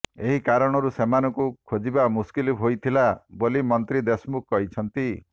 ଏହି କାରଣରୁ ସେମାନଙ୍କୁ ଖୋଜିବା ମୁସ୍କିଲ ହୋଇଥିଲା ବୋଲି ମନ୍ତ୍ରୀ ଦେଶମୁଖ କହିଛନ୍ତି